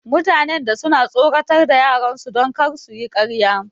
Mutanen da suna tsoratar da yaran su don kar suyi karya